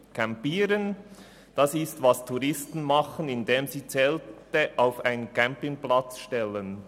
» Campieren ist das, was Touristen tun, indem sie Zelte auf einen Campingplatz stellen.